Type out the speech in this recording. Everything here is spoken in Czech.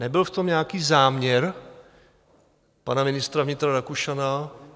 Nebyl v tom nějaký záměr pana ministra vnitra Rakušana?